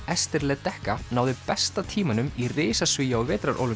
Ester Ledecká náði besta tímanum í risasvigi á